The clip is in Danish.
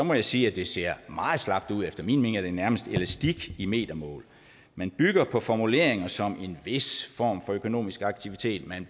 må jeg sige at det ser meget slapt ud efter min mening er det nærmest elastik i metermål man bygger på formuleringer som en vis form for økonomisk aktivitet at man